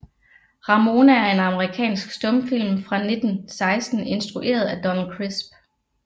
Ramona er en amerikansk stumfilm fra 1916 instrueret af Donald Crisp